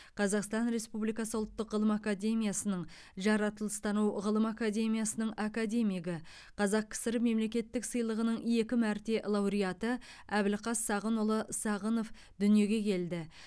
қазақстан республикасы ұлттық ғылым академиясының жаратылыстану ғылым академиясының академигі қазақ кср мемлекеттік сыйлығының екі мәрте лауреаты әбілқас сағынұлы сағынов дүниеге келді